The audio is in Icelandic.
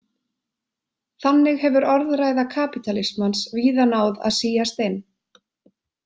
Þannig hefur orðræða kapítalismans víða náð að síast inn.